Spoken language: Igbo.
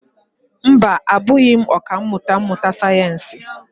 Mba, abụghị m ọkà mmụta sayensị.